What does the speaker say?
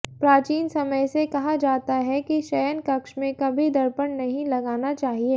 प्राचीन समय से कहा जाता है की शयन कक्ष में कभी दर्पण नहीं लगाना चाहिए